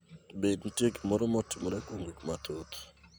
Be nitie gimoro motimore kuom gik mathoth